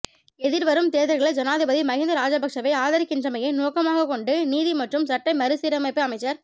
எதிர்வரும் தேர்தல்களில் ஜனாதிபதி மஹிந்த ராஜபக்ஷவை ஆதரிக்கின்றமையை நோக்கமாகக் கொண்டு நீதி மற்றும் சட்ட மறுசீரமைப்பு அமைச்சர்